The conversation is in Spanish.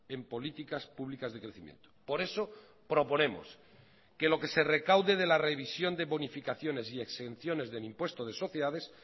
en políticas públicas de crecimiento por eso proponemos que lo que se recaude de la revisión de bonificaciones y exenciones del impuesto de sociedades